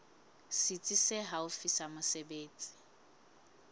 setsi se haufi sa mesebetsi